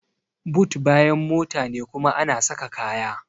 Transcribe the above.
But bayan mota ne kuma ana saka kaya.